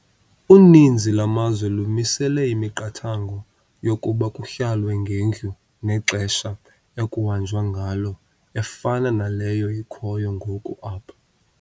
Uninzi lwamazwe lumisele imiqathango yokuba kuhlalwe ngendlu nexesha ekungahanjwa ngalo efana naleyo ikhoyo ngoku apha.